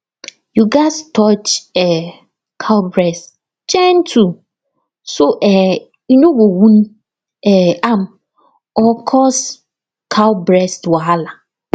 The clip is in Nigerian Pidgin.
you gats touch um cow breast gentle so um you no go wound um am or cause cow breast wahala